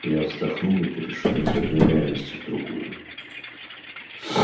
я вздохнул и перешёл из одной реальности в другую